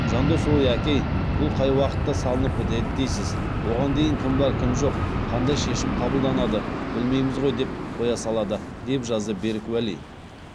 жандос ой әке ай бұл қай уақытта салынып бітеді дейсіз оған дейін кім бар кім жоқ қандай шешім қабылданады білмейміз ғой деп қоя салады деп жазды берік уәли